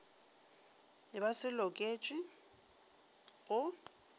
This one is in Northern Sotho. e ba se loketšwe go